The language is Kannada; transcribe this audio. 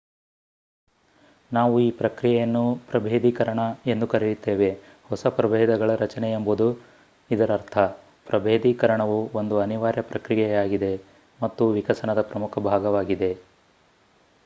ನಾವು ಈ ಪ್ರಕ್ರಿಯೆಯನ್ನು ಪ್ರಭೇಧೀಕರಣ ಎಂದು ಕರೆಯುತ್ತೇವೆ ಹೊಸ ಪ್ರಭೇಧಗಳ ರಚನೆ ಎಂಬುದು ಇದರರ್ಥ ಪ್ರಭೇಧೀಕರಣವು ಒಂದು ಅನಿವಾರ್ಯ ಪ್ರಕ್ರಿಯೆಯಾಗಿದೆ ಮತ್ತು ವಿಕಸನದ ಪ್ರಮುಖ ಭಾಗವಾಗಿದೆ